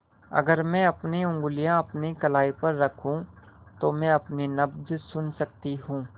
अगर मैं अपनी उंगलियाँ अपनी कलाई पर रखूँ तो मैं अपनी नब्ज़ सुन सकती हूँ